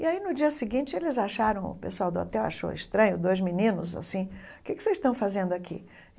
E aí no dia seguinte eles acharam, o pessoal do hotel achou estranho, dois meninos assim, o que que vocês estão fazendo aqui?